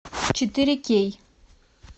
четыре кей